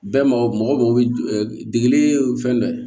Bɛɛ mago mɔgɔ mago bɛ degeli fɛn dɔ la